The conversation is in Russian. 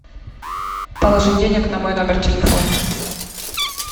положи денег на мой номер телефона